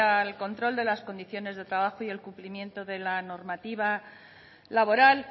al control de las condiciones de trabajo y el cumplimiento de la normativa laboral